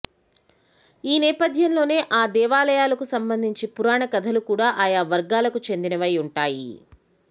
ఈ నేపథ్యంలోనే ఆ దేవాలయాలకు సంబంధించి పురాణ కథలు కూడా ఆయా వర్గాలకు చెందినవై ఉంటాయి